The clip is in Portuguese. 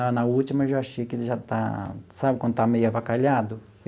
Ah, na última, eu já achei que já está... Sabe quando está meio avacalhado?